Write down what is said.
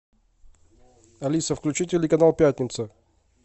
алиса включи телеканал пятница